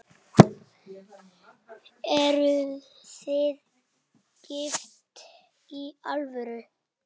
Eruð þið gift í alvöru?